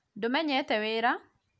ndũmenyete wĩra?